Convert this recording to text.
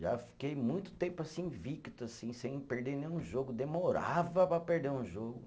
Já fiquei muito tempo assim, invicto assim, sem perder nenhum jogo, demorava para perder um jogo.